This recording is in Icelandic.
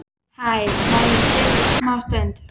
Hæ, má ég setjast smá stund?